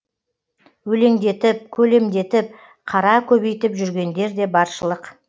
өлеңдетіп көлемдетіп қара көбейтіп жүргендер де баршылық